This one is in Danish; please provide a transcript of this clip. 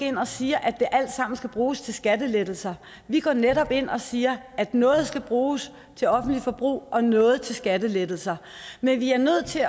ind og siger at det alt sammen skal bruges til skattelettelser vi går netop ind og siger at noget der skal bruges til offentligt forbrug og noget til skattelettelser men vi er nødt til